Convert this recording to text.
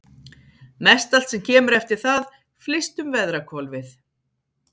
Mestallt sem kemur eftir það flyst um veðrahvolfið.